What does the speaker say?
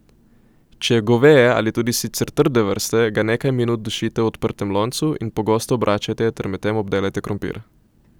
Če je goveje ali tudi sicer trde vrste, ga nekaj minut dušite v odprtem loncu in pogosto obračajte ter medtem obdelajte krompir.